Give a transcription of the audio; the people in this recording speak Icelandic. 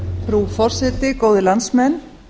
frú forseti góðir landsmenn